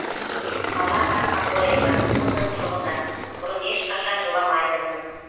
алана абоева лондон тұрғыны бұрын ешқашан жыламайтынмын